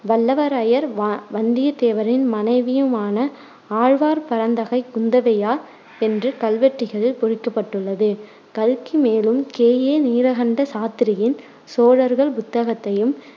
வல்லவரையர் வ~ வந்தியத்தேவரின் மனைவியுமான ஆழ்வார் பரந்தகை குந்தவையார் என்று கல்வெட்டுக்களில் பொறிக்கப்பட்டுள்ளது. கல்கி மேலும் கே ஏ நீலகண்ட சாத்திரியின் சோழர்கள் புத்தகத்தையும்,